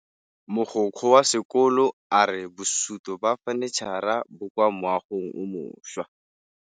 Mogokgo wa sekolo a re bosutô ba fanitšhara bo kwa moagong o mošwa.